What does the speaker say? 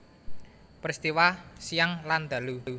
Peristiwa siang lan ndalu